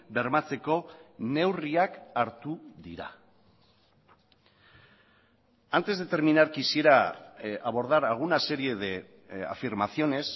bermatzeko neurriak hartu dira antes de terminar quisiera abordar alguna serie de afirmaciones